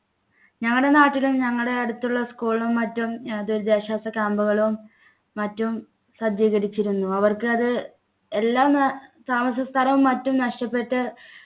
ഞങ്ങടെ നാട്ടിലും ഞങ്ങടെ അടുത്തുള്ള school ലും മറ്റും അഹ് ദുരിതാശ്വാസ camp ളും മറ്റും സജ്ജീകരിച്ചിരുന്നു അവർക്ക് അത് എല്ലാം അഹ് താമസസ്ഥലവും മറ്റും നഷ്ടപ്പെട്ട്